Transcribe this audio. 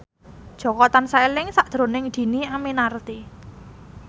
Jaka tansah eling sakjroning Dhini Aminarti